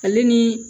Ale ni